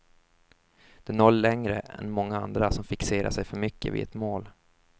Du når längre än många andra som fixerar sig för mycket vid ett mål.